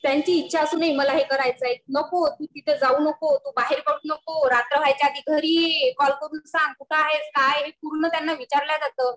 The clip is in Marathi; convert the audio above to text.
त्यांची ईच्छा असूनही मला हे करायचं आहे. नको तू तिथं जाऊ नको बाहेर बसु नको रात्र व्हायच्या आत घरी ये, कॉल करून सांग , कुठे आहेस हे पूर्ण त्यांना विचारलं जातं